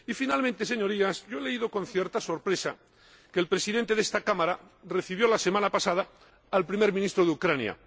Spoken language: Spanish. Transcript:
Y, finalmente, Señorías, he leído con cierta sorpresa que el Presidente de esta Cámara recibió la semana pasada al Primer Ministro de Ucrania.